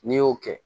N'i y'o kɛ